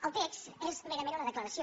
el text és merament una declaració